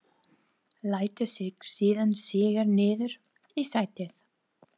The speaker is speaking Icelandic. Lætur sig síðan síga niður í sætið.